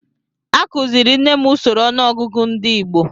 Akuziri m nne m usoro ọnụọgụgụ ndị Igbo